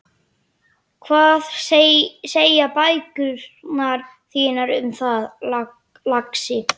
Hvað segja bækurnar þínar um það, lagsi?